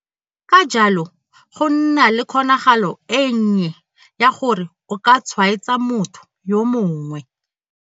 Ka jalo, go nna le kgonagalo e nnye ya gore o ka tshwaetsa motho yo mongwe.